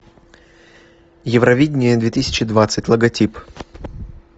евровидение две тысячи двадцать логотип